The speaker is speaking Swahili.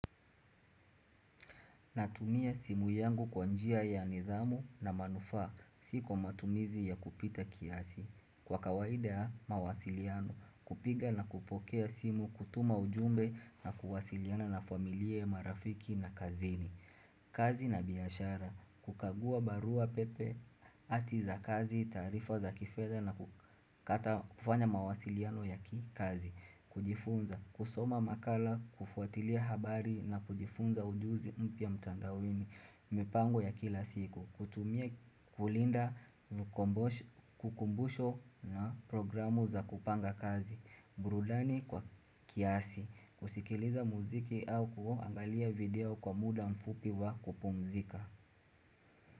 Natumia simu yangu kwanjia ya nidhamu na manufaa. Siko matumizi ya kupita kiasi. Kwa kawaida ya, mawasiliano. Kupiga na kupokea simu, kutuma ujumbe na kuwasiliana na familia marafiki na kazini. Kazi na biashara, kukagua barua pepe ati za kazi, taarifa za kifedha na ku kata kufanya mawasiliano ya kikazi kujifunza, kusoma makala, kufuatilia habari na kujifunza ujuzi mpya mtandaoni mipango ya kila siku, kutumie kulinda vkumbosho kukumbusho na programu za kupanga kazi burudani kwa kiasi kusikiliza muziki au kuAngalia video kwa muda mfupi wa kupumzika.